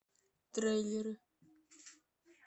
трейлеры